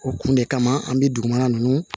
O kun de kama an be dugumana nunnu